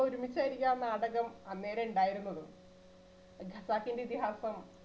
നമ്മൾ ഒരുമിച്ച് എഴുതിയ ആ നാടകം അന്നേരേ ഉണ്ടായിരുന്നുള്ളൂ ഖസാക്കിന്റെ ഇതിഹാസം